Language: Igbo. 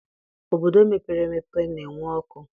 Obodo mepere emepe na-enwe ọkụ